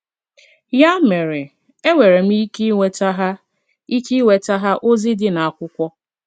Ya mere, enwere m ike iweta ha ike iweta ha ozi di na akwụkwo